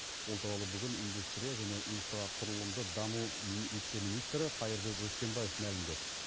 ол туралы бүгін индустрия және инфрақұрылымды даму вице министрі қайырбек өскенбаев мәлімдеді